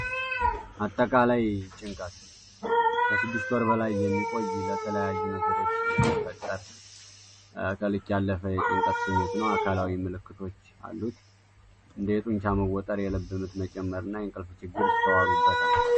አጠቃላይ ጭንቀት ጭንቀት 6 ወር በላይ የሚቆይ በተለያዩ ነገሮች የሚፈጠር የጭንቀት ስሜት ነው። የተለያዩ አካላዊ ምልክቶች ያሉት የጡንቻ መወጠር የልብ መጨነቅና የእንቅልፍ ችግር ይገኙበታል።